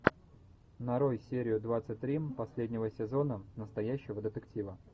нарой серию двадцать три последнего сезона настоящего детектива